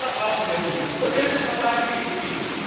Deshalb brauchen wir sie, und deshalb verteidige ich sie.